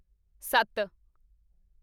ਸੱਤ